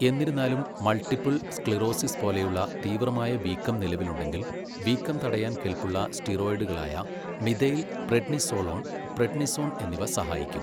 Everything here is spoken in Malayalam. എന്നിരുന്നാലും, മൾട്ടിപ്പിൾ സ്ക്ലിറോസിസ് പോലെയുള്ള തീവ്രമായ വീക്കം നിലവിലുണ്ടെങ്കിൽ, വീക്കം തടയാൻ കെൽപ്പുള്ള സ്റ്റിറോയിഡുകളായ മിഥൈൽ പ്രെഡ്നിസോലോൺ, പ്രെഡ്നിസോൺ എന്നിവ സഹായിക്കും.